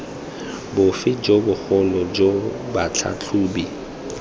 bofe jo bogolo jo batlhatlhobi